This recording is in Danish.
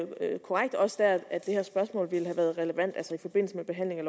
helt korrekt også der at det her spørgsmål ville have været relevant altså i forbindelse med behandlingen